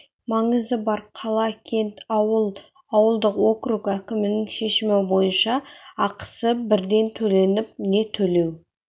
маңызы бар қала кент ауыл ауылдық округ әкімінің шешімі бойынша ақысы бірден төленіп не төлеу